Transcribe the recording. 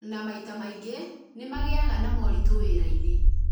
na maita maingĩ nĩ magĩaga na moritũ wĩra-inĩ